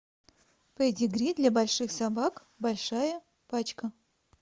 педигри для больших собак большая пачка